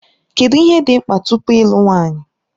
Kedụ ihe dị mkpa tupu ịlụ nwanyị?